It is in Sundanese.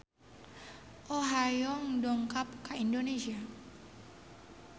Oh Ha Young dongkap ka Indonesia